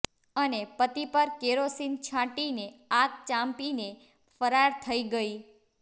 અને પતિ પર કેરોસીન છાંટીને આગ ચાંપીને ફરાર થઈ ગઈ